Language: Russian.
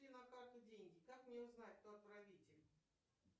пришли на карту деньги как мне узнать кто отправитель